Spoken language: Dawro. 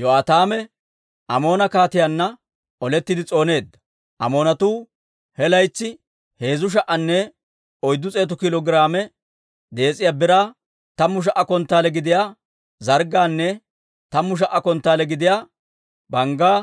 Yo'aataame Amoona kaatiyaanna olettiide s'ooneedda. Amoonatuu he laytsi heezzu sha"anne oyddu s'eetu kiilo giraame dees'iyaa biraa, tammu sha"a konttaale gidiyaa zarggaanne tammu sha"a konttaale gidiyaa banggaa